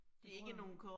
Det tror jeg